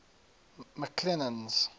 mcclennan's